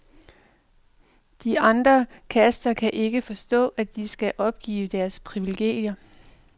De andre kaster kan ikke forstå, at de skal opgive deres privilegier.